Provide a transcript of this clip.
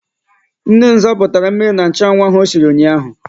Nne m zapụtara mmiri na nchụanwụ ahụ o siri ụnyaahụ.